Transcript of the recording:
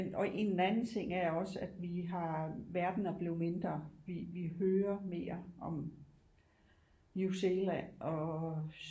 Og en anden ting er også at vi har verden er blevet mindre vi hører mere om New Zealand og